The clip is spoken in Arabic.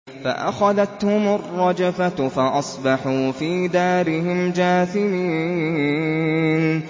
فَأَخَذَتْهُمُ الرَّجْفَةُ فَأَصْبَحُوا فِي دَارِهِمْ جَاثِمِينَ